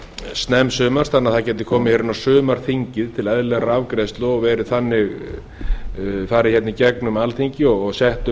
snemmsumars þannig að það gæti komið hér inn á sumarþingið til eðlilegrar afgreiðslu og farið hérna í gegnum alþingi og sett um